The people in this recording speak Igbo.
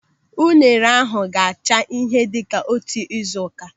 Unere ahụ ga-acha ihe dịka otu ị́zù ụ́ká.